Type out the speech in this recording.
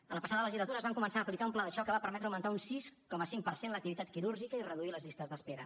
a la passada legislatura es va començar a aplicar un pla de xoc que va permetre augmentar un sis coma cinc per cent l’activitat quirúrgica i reduir les llistes d’espera